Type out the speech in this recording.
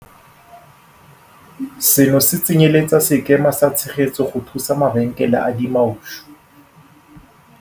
Seno se tsenyeletsa sekema sa tshegetso go thusa mabenkele a dimaushu.